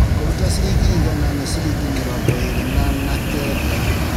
Kũruta ciringi igana nĩ ciringi mĩrongo ĩrĩ na na kenda